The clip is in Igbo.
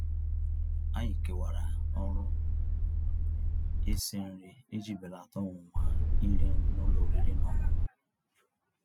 Ànyị́ kèwàrà ọ̀rụ́ ísi nrí íji bèlàtà ọ̀nwụ̀nwa írì nrí n'ụ́lọ̀ ọ̀rị́rị́ ná ọ̀ṅụ̀ṅụ̀.